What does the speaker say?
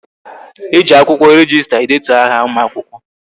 E ji akwụkwọ rejista edetu aha ụmụakwụkwọ